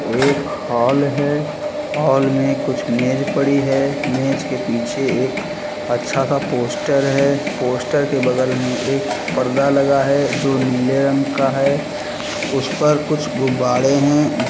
एक हॉल है हॉल में कुछ मेज पड़ी है मेज के पीछे एक अच्छा सा पोस्टर है पोस्टर के बगल में एक पर्दा लगा है जो नीले रंग का है उस पर कुछ गुब्बाड़े हैं।